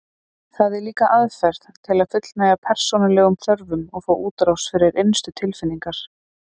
Það er líka aðferð til að fullnægja persónulegum þörfum og fá útrás fyrir innstu tilfinningar.